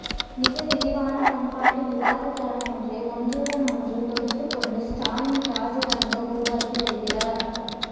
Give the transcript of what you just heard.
மிக விரிவான பண்பாட்டு விவாதத்தளம் ஒன்றை ஒன்றுடன் ஒன்று தொடுத்துக்கொண்டு ஸ்டாலின் ராஜாங்கம் உருவாக்கி வருகிறார்